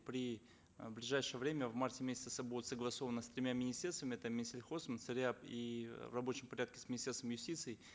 э в ближайшее время в марте месяце будут согласовано с тремя министерствами это минсельхоз и в рабочем порядке с министерством юстиции